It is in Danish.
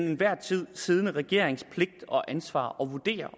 enhver tid siddende regerings pligt og ansvar at vurdere